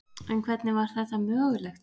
En hvernig var þetta mögulegt?